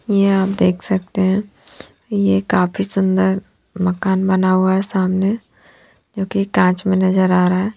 यह आप देख सकते हैं यह काफी सुंदर मकान बना हुआ है सामने जो कि कांच में नजर आ रहा है।